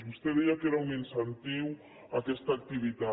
vostè deia que era un incentiu a aquesta activitat